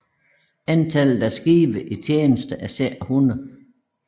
Antallet af skibe i tjeneste var cirka 100